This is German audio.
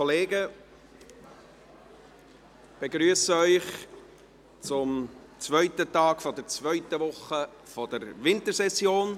Ich begrüsse Sie zum zweiten Tag der zweiten Woche der Wintersession.